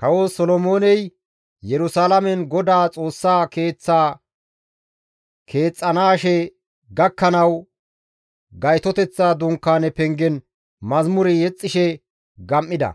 Kawo Solomooney Yerusalaamen Godaa Xoossaa Keeththa keexxanaashe gakkanawu Gaytoteththa Dunkaane pengen mazamure yexxishe gam7ida;